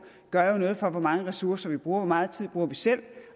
gør noget for hvor mange ressourcer vi bruger hvor meget tid bruger vi selv